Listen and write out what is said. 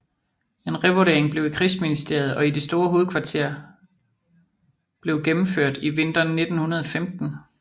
En revurdering blev i krigsministeriet og i det store hovedkvarter blev gennemført i vinteren 1915